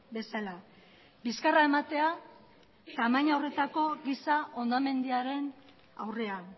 bezala bizkarra ematea tamaina horretako giza hondamendiaren aurrean